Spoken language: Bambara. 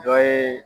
Dɔ ye